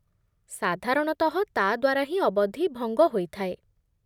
ସାଧାରଣତଃ, ତା'ଦ୍ଵାରା ହିଁ ଅବଧି ଭଙ୍ଗ ହୋଇଥାଏ